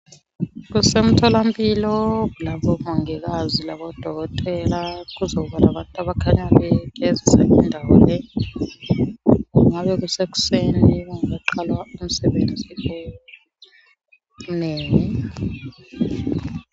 Kusemtholampilo, lapho omongikazi labodokotela, kuzokuba labantu abakhanya begezisa indawo le. Kungabe kusekuseni kungakaqalwa umsebenzi omnengi.